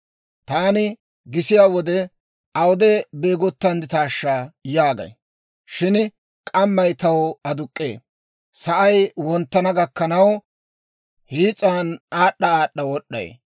Taani gisiyaa wode, ‹Awude beegottandditaashsha?› yaagay. Shin k'ammay taw aduk'k'ee; sa'ay wonttana gakkanaw hiis'an aad'd'a aad'd'a wod'd'ay.